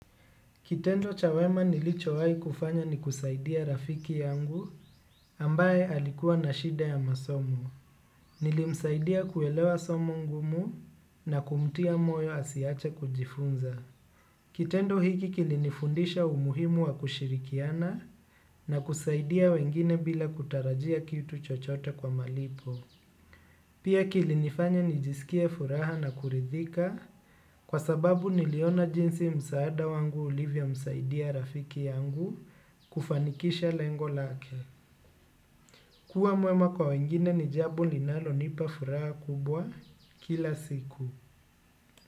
Kitendo cha wema nilichowai kufanya ni kusaidia rafiki yangu ambaye alikuwa na shida ya masomo. Nilimsaidia kuelewa somo ngumu na kumtia moyo asiache kujifunza. Kitendo hiki kilinifundisha umuhimu wa kushirikiana na kusaidia wengine bila kutarajia kitu chochote kwa malipo. Pia kilinifanya nijisikie furaha na kuridhika, kwa sababu niliona jinsi msaada wangu ulivyomsaidia rafiki yangu kufanikisha lengo lake. Kuwa mwema kwa wengine ni jambo linalonipa furaha kubwa kila siku.